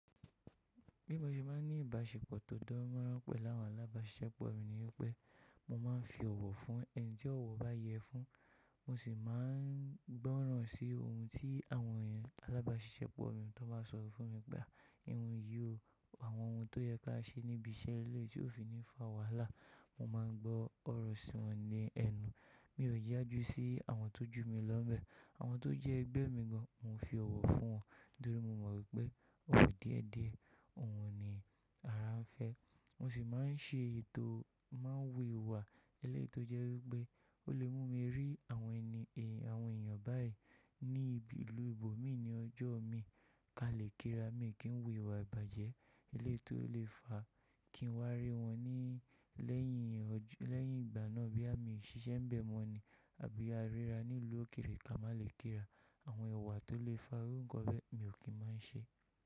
Bí mo ṣe máa ń ní ìbáṣepọ̀ tó dán mọ́rán pẹ̀ láwọn alábáṣiṣẹ́pọ̀ mi ni wípé mo máa ń fi ọ̀wọ̀ fún ẹni tí ọ̀wọ̀ bá yẹ fun. Mo sì máa ń gbọ́ràn sí ohun tí àwọn èèyàn alábáṣiṣẹ́pọ̀ mi tó bá sọ fún mi pa. Ìhun yí o, àwọn ohun tó yẹ ká ṣe níbi iṣẹ́ ilé tí ó fi ní fa wàhálà, mo máa ń gbọ́ ọ̀rọ̀ sí wọn ní ẹnu. Mi ò yájú sí àwọn tó jù mi lọ́mbẹ̀. Àwọn tó jẹ́ ẹgbẹ́ mi gan, mo fi ọ̀wọ̀ fún wọn nítorí mo mọ̀ wípé ọwọ̀ díẹ̀ díẹ̀, ohun ni ara ń fẹ́. Mo sì máa ń ṣe ètò máa wuwà ẹlẹ́ẹ̀tọ́ jẹ́ wípé ó lè mú mi rí àwọn ẹni èèyàn báyìí níbi ìlú ìbò mi ní ọjọ́ mi. Ka lè kí ra, mi kí ń wuwà ìbàjẹ́ ẹlẹ́ẹ̀tọ́ lè fa kí n wá rí wọn ní lẹ́yìn ọjọ́, lẹ́yìn ìgbà náà bí a ò ṣe ń bẹ̀ mọ́ ni àbí a ríra ní ìlú òkèèrè ka má lè kí ra. Àwọn iwà tó lè fa irú nǹkan bẹ́ẹ̀ mi ò kí máa ń ṣe.